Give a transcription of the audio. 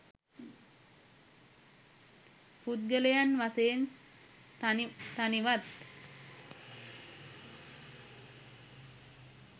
පුද්ගලයන් වශයෙන් තනි තනිවත්,